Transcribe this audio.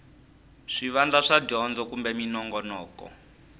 swivandla swa dyondzo kumbe minongonoko